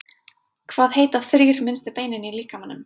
hvað heita þrír minnstu beinin í líkamanum